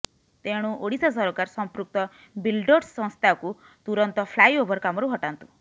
ତେଣୁ ଓଡ଼ିଶା ସରକାର ସମ୍ପୃକ୍ତ ବିଲ୍ଡର୍ସ ସଂସ୍ଥାକୁ ତୁରନ୍ତ ଫ୍ଲାଇ ଓଭର କାମରୁ ହଟାନ୍ତୁ